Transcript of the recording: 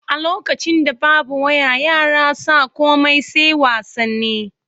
A lokacin da babu waya yara sa komai sai wasanni.